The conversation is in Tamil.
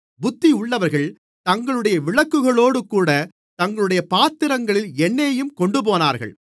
புத்தியுள்ளவர்கள் தங்களுடைய விளக்குகளோடுகூடத் தங்களுடைய பாத்திரங்களில் எண்ணெயையும் கொண்டுபோனார்கள்